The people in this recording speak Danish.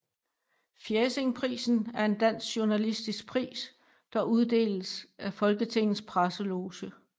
Fjæsingprisen er en dansk journalistisk pris der uddeles af Folketingets Presseloge